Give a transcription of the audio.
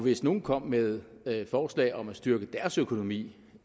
hvis nogle kom med forslag om at styrke deres økonomi